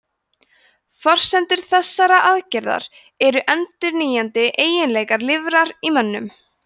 forsendur þessarar aðgerðar eru endurnýjandi eiginleikar lifrar í mönnum